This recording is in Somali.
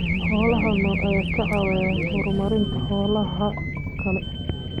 Xoolaha nool ayaa ka caawiya horumarinta xoolaha kale.